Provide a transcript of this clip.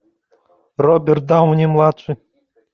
роберт дауни младший